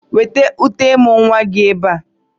Weta uté ịmụ̀ nwa gị ebe a!